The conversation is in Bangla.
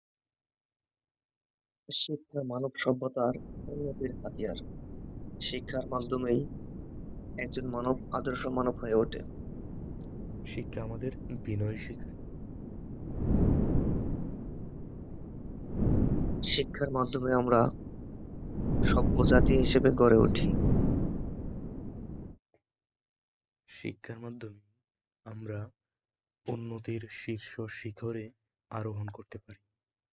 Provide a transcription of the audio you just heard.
আমরা উন্নতির শীর্ষ শিখরে আরোহন করতে পারি